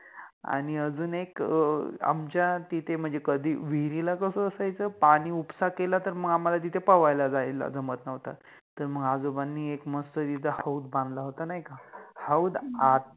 आणि अजुन एक अ आमच्या तिथे म्हणजे कधि विहिरिला कस असायच पाणी उपसा केला तर मग आम्हाला तिथे पोवायला जायला जमत नव्हतं, तर मंग आजोबांनी एक मस्त तिथे हौद बांधला होता नाहि का, हौद आता